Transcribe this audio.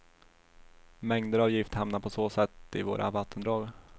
Mängder av gift hamnar på så sätt i våra vattendrag.